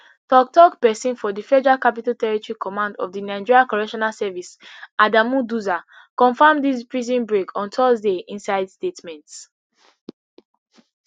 toktok pesin for di federal capital territory command of di nigerian correctional service adamu duza confam dis prison break on thursday inside statement